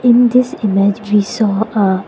In this image we saw aa --